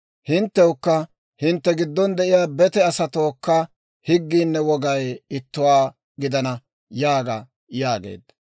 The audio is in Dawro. Hinttewukka hintte giddon de'iyaa bete asatookka higgiinne wogay ittuwaa gidana› yaaga» yaageedda.